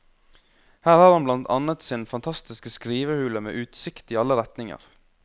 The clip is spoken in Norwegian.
Her har han blant annet sin fantastiske skrivehule med utsikt i alle retninger.